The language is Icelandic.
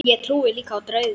Ég trúi líka á drauga.